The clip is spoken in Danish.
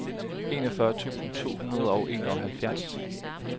enogfyrre tusind to hundrede og enoghalvfjerds